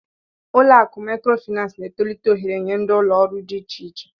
Ụlọ akụ Maịkrofịnansị na-etolite ohere nye ndi ụlọ ọrụ dị iche iche.